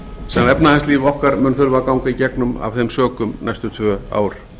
sem efnahagslíf okkar mun þurfa að ganga í gegnum næstu tvö ár